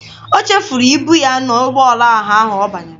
O chefuru ibu ya n'ụgbọala ọha ahụ ọ banyere.